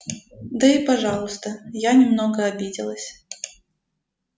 да и пожалуйста я немного обиделась